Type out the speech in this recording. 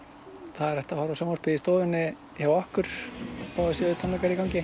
það er hægt að horfa á sjónvarpið í stofunni hjá okkur þótt það séu tónleikar í gangi